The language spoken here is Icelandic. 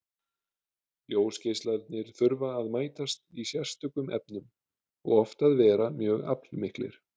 Ljósgeislarnir þurfa að mætast í sérstökum efnum og oft að vera mjög aflmiklir.